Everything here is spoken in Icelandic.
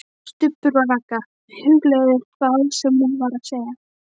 STUBBUR OG RAGGA, hugleiðir það sem hún var að segja.